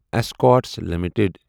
Escorts limited